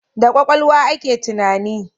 Da kwakwalwa ake tunani